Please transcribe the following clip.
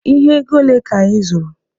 Ihe ego ole ka anyị zụrụ?